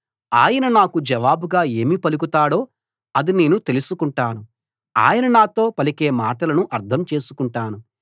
ఆయన నాకు జవాబుగా ఏమి పలుకుతాడో అది నేను తెలుసుకుంటాను ఆయన నాతో పలికే మాటలను అర్థం చేసుకుంటాను